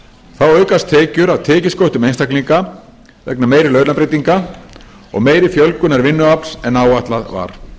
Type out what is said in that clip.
þá aukast tekjur af tekjusköttum einstaklinga vegna meiri launabreytinga og meiri fjölgunar vinnuafls en áætlað var